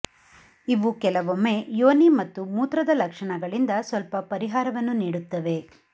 ಇವು ಕೆಲವೊಮ್ಮೆ ಯೋನಿ ಮತ್ತು ಮೂತ್ರದ ಲಕ್ಷಣಗಳಿಂದ ಸ್ವಲ್ಪ ಪರಿಹಾರವನ್ನು ನೀಡುತ್ತವೆ